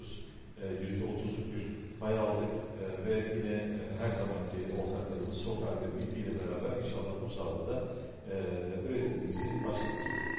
Eee 30%-lik bir pay aldıq eee və yenə eee hər zamankı ortaqlarımız SOCAR və BP ilə bərabər inşallah bu sahədə də eee istehsalımızı başladacağıq.